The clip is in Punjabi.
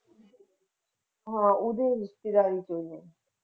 ਹਾਂ ਉਹਦੇ ਰਿਸ਼ੇਤਦਾਰੀ ਵਿੱਚ ਹੈ।